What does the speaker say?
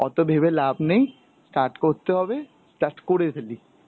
অত ভেবে লাভ নেই, start করতে হবে, start করে ফেলি.